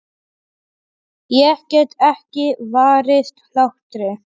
Ég get ekki varist hlátri.